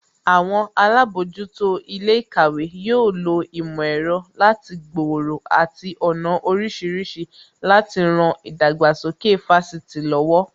Àwọn alábòójútó ilé ìkàwé yóò lo ìmò ẹ̀rọ láti gbòòrò àti ọ̀nà oríṣiríṣi láti ran ìdàgbàsókè Fásitì lọ́wọ́